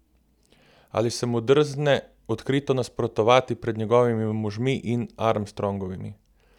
Ali se mu drzne odkrito nasprotovati pred njegovimi možmi in Armstrongovimi?